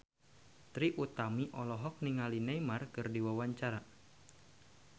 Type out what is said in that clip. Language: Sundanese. Trie Utami olohok ningali Neymar keur diwawancara